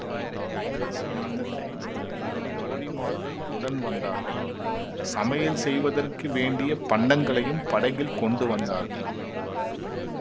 படகு செலுத்த தெரிந்த இரண்டு தோழிமார்கள் உடன் வந்தார்கள் சமையல் செய்வதற்கு வேண்டிய பண்டங்களையும் படகில் கொண்டு வந்தார்கள்